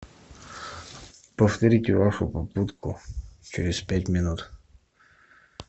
повторите вашу попытку через пять минут